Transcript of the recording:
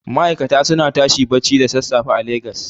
Ma'aikata suna tashi barci da sassafe a Legas.